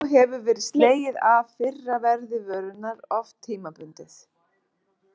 Þá hefur verið slegið af fyrra verði vörunnar, oft tímabundið.